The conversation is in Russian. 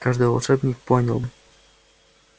каждый волшебник понял бы